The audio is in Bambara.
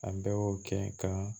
A bɛɛ y'o kɛ kan